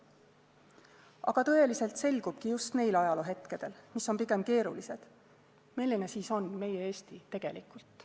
Aga tõeliselt selgubki just neil ajaloohetkedel, mis on pigem keerulised, milline siis on meie Eesti tegelikult.